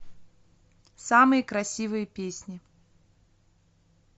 самые красивые песни